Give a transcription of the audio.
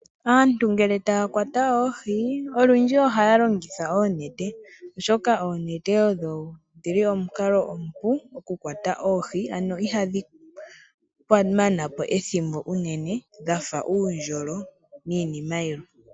Aantu ngele taya kwata oohi olundji ohaya longitha oonete oshoka oonete odho dhili omukalo omupu oku kwata oohi ano ihadhi mana po ethimbo unene dhafa uundjolo niinima yilwe.